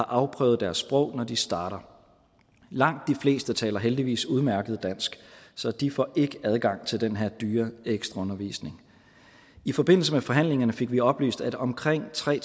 afprøvet deres sprog når de starter langt de fleste taler heldigvis udmærket dansk så de får ikke adgang til den her dyre ekstraundervisning i forbindelse med forhandlingerne fik vi oplyst at omkring tre